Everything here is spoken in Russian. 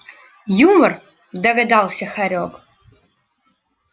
юмор догадался хорёк